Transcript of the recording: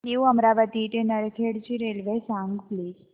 new Amravati ते नरखेड ची railway सांग प्लीज